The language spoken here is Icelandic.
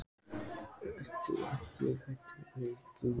Karen Kjartansdóttir: Ert þú ekkert hræddur við Grýlu?